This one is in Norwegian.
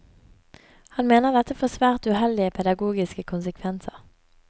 Han mener dette får svært uheldige pedagogiske konsekvenser.